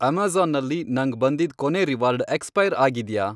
Amazon ನಲ್ಲಿ ನಂಗ್ ಬಂದಿದ್ ಕೊನೇ ರಿವಾರ್ಡ್ ಎಕ್ಸ್ಪೈರ್ ಆಗಿದ್ಯಾ?